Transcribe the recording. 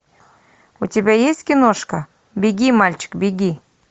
у тебя есть киношка беги мальчик беги